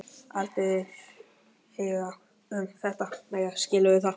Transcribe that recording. Ég vil aldrei heyra um þetta meira, skilurðu það?